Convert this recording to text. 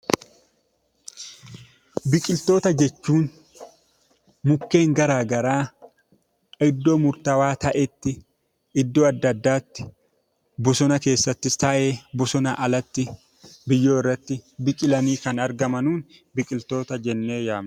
Biqiltoota jechuun mukeen garaa garaa iddoo murtaawwaa ta'etti, iddoo addaa addaatti, bosona keessattis ta'ee; bosonaa alatti, biyyoo irratti biqilanii kan argaman biqiltoota jennee waamna.